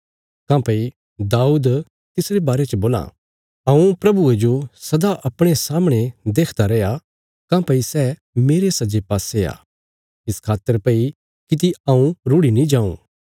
काँह्भई दाऊद तिसरे बारे च बोलां मैं प्रभुये जो सदा अपणे सामणे देखदा रैया काँह्भई सै मेरे सज्जे पासे आ इस खातर भई किति हऊँ रुढ़ि नीं जाऊँ